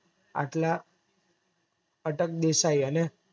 આટલા અટક દેસાઈ અને